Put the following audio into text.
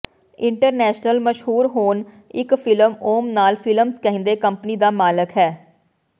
international ਮਸ਼ਹੂਰ ਹੁਣ ਇੱਕ ਫਿਲਮ ਓਮ ਲਾਲ ਫਿਲਮਸ ਕਹਿੰਦੇ ਕੰਪਨੀ ਦਾ ਮਾਲਕ ਹੈ